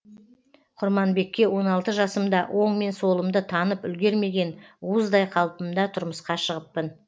құрманбекке он алты жасымда оң мен солымды танып үлгермеген уыздай қалпымда тұрмысқа шығыппын